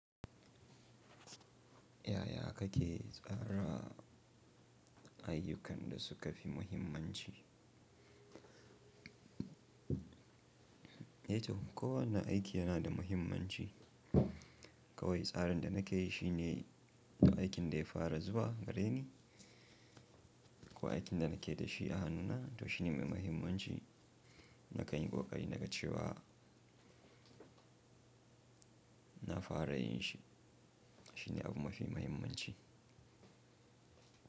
Yaya kake tsara ayyukan da suka fi muhimmanci? To kowane aiki yana da muhimmanci. Kawai tsarin da nake yi shi ne, to aikin da ya fara zuwa gareni ko aikin da nake da shi a hannuna to shi ne mai muhimmanci. Na kan yi ƙoƙari naga cewa na fara yin shi. Shi ne abu mafi muhimmanci.